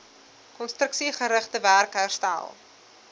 konstruksiegerigte werk herstel